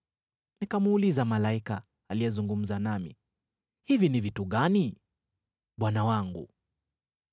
Nikamuuliza malaika aliyezungumza nami, “Hivi ni vitu gani, bwana wangu?”